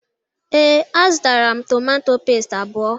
Ee, a zụtara m tomatọ pẹ́stị abụọ.